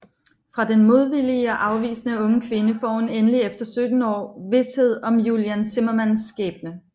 Fra den modvillige og afvisende unge kvinde får hun endelig efter 17 år vished om Julian Zimmermanns skæbne